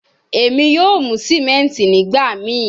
Emi yoo mu simenti nigbamii